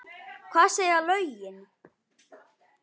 Hvað segja lögin?